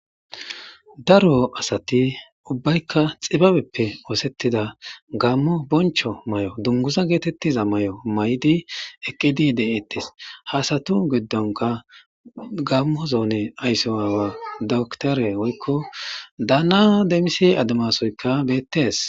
Daro asati ubbaykka xibabeppe oosettida gammo boncho may7o dunguza geetettiza may7o may7di eqqidi de7eettes haasatu giddonka gammo zoone aysse waawa doktore woykko daana demise ademasoyka bettees.